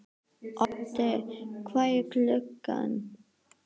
Oddi, hvað er klukkan?